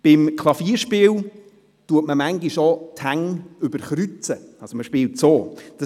Beim Klavierspiel überkreuzt man manchmal die Hände.